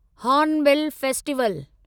hornbill festival